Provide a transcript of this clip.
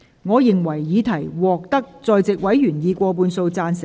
我認為議題獲得在席委員以過半數贊成。